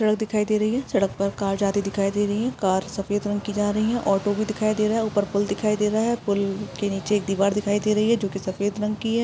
सड़क दिखाई दे रही है। सड़क पर कार जाते दिखाई दे रही है। कार सफ़ेद रंग की जा रही है। ऑटो भी दिखाई दे रहा है। ऊपर पूल दिखाई दे रहा है। पूल के नीचे एक दिवार दिखाई दे रही है जोकि सफ़ेद रंग की है।